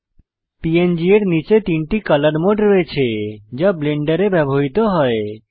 প্যাং এর নীচে তিনটি কলর মোড রয়েছে যা ব্লেন্ডারে ব্যবহৃত হয়েছে